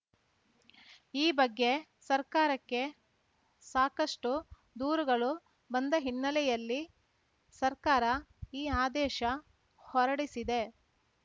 ಈ ಬಗ್ಗೆ ಸರ್ಕಾರಕ್ಕೆ ಸಾಕಷ್ಟುದೂರುಗಳು ಬಂದ ಹಿನ್ನೆಲೆಯಲ್ಲಿ ಸರ್ಕಾರ ಈ ಆದೇಶ ಹೊರಡಿಸಿದೆ